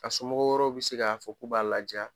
A somɔgɔ wɛrɛ bi se fɔ k'u b'a laja